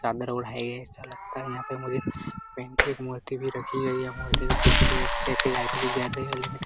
चादर ओढ़े है ऐसा लगता है यहां पे मुझे की एक मूर्ति भी रखी गयी है मूर्ति के पीछे एक लाइट भी जल रही है लेकिन --